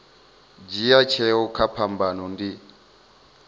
dzhia tsheo kha phambano ndi